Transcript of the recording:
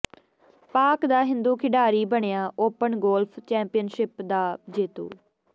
ਪਾਕਿ ਦਾ ਹਿੰਦੂ ਖਿਡਾਰੀ ਬਣਿਆ ਓਪਨ ਗੋਲਫ਼ ਚੈਂਪੀਅਨਸ਼ਿਪ ਦਾ ਜੇਤੂ